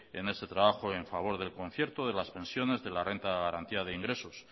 en ese trabajo en favor del concierto de las pensiones de la renta de garantía de ingresos